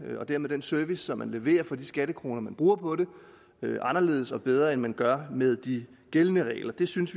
den service som man leverer for de skattekroner man bruger på det anderledes og bedre end man gør med de gældende regler vi synes